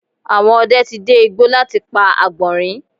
Àwọn ọdẹ ti dẹ igbó láti pa àgbọ̀nrín